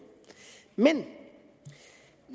men